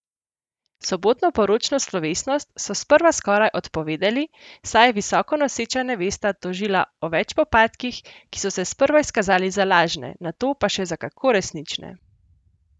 Sobotno poročno slovesnost so sprva skoraj odpovedali, saj je visoko noseča nevesta tožila o več popadkih, ki so se sprva izkazali za lažne, nato pa še za kako resnične!